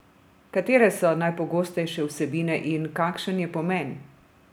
Katere so najpogostejše vsebine in kakšen je pomen?